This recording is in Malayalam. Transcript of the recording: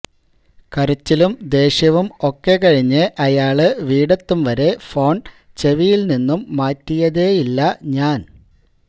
കരച്ചിലും ദേഷ്യവും ഒക്കെകഴിഞ്ഞ് അയാള് വീടെത്തും വരെ ഫോണ് ചെവിയില് നിന്ന് മാറ്റിയതേയില്ല ഞാന്